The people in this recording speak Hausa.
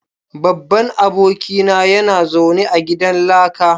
Babban abokina yana zaune a gidan laka